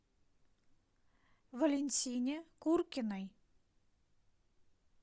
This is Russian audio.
валентине куркиной